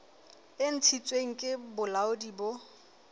e ntshitsweng ke bolaodi bo